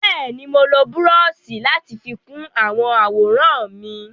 Bẹ́ẹ̀ni, mo lo búrọ́ọ̀ṣì láti fi kun àwọn àwòrán mi.